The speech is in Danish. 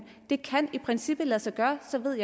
det kan i princippet lade sig gøre jeg ved